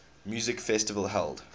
music festival held